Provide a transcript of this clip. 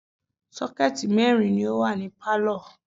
Sọ́kẹ̀tì mẹ́rin ni ó wà ní pálọ̀